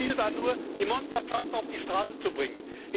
Ihr Ziel war nur, die Monstertrucks auf die Straße zu bringen.